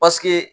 Paseke